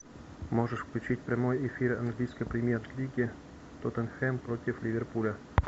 можешь включить прямой эфир английской премьер лиги тоттенхэм против ливерпуля